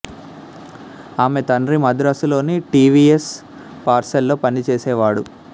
ఆమె తండ్రి మద్రాసులోని టి వి ఎస్ పార్సెల్ లో పనిచేసేవాడు